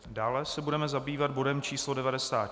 Dále se budeme zabývat bodem číslo